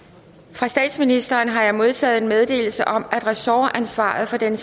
fra statsministeren har jeg modtaget meddelelse om at ressortansvaret for den